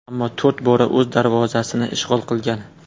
Ammo to‘rt bora o‘z darvozasini ishg‘ol qilgan.